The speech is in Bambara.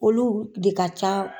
Olu de ka ca